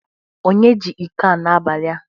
Onye ji iko a n'abali a?